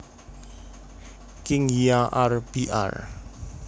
Kingia R Br